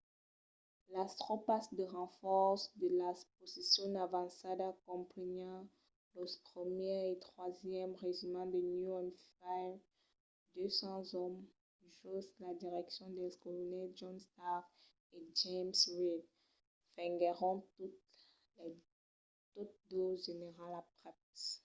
las tropas de renfòrç de las posicions avançadas comprenián los 1èr e 3n regiments de new hampshire de 200 òmes jos la direccion dels colonèls john stark e james reed venguèron totes dos generals aprèp